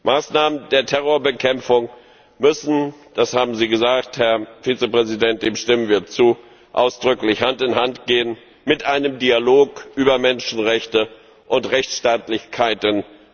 Maßnahmen der Terrorbekämpfung müssen das haben Sie gesagt, Herr Vizepräsident, dem stimmen wir zu ausdrücklich Hand in Hand gehen mit einem Dialog über Menschenrechte und Rechtsstaatlichkeiten.